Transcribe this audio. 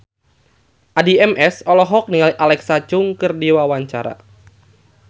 Addie MS olohok ningali Alexa Chung keur diwawancara